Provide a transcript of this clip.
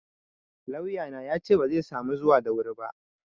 Lauyana yace bazai samu zuwa da wuri ba.